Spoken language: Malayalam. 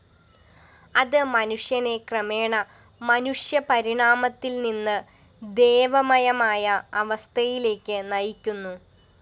അത് മനുഷ്യനെ ക്രമേണ മനുഷ്യപരിണാമത്തില്‍നിന്ന് ദേവമയമായ അവസ്ഥയിലേക്ക് നയിക്കുന്നു